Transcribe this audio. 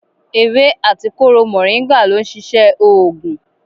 Ewé àti kóró moringa lo n ṣiṣẹ oògùn.